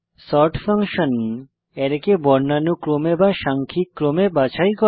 sort function অ্যারেকে বর্ণানুক্রমে সাংখিক ক্রমে বাছাই করে